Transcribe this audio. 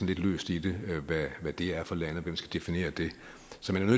lidt løst i det hvad det er for lande der skal definere det